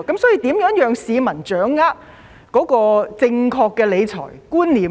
所以，如何讓市民掌握正確的理財觀念呢？